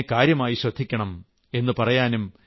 അതുകൊണ്ട് ഇതിനെ കാര്യമായി ശ്രദ്ധിക്കണം